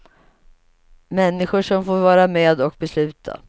Människor som får vara med och besluta.